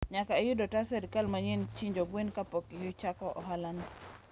nyaka iyud otas serikal mayieni chinjo gwen kapok ichako ohalano.